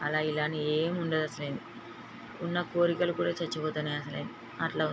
ఆలా అని గని ఎం ఉండదశలు ఉన్న కోర్కెలు కూడా చచ్చిపోతున్నాయి అట్లా ఉంది.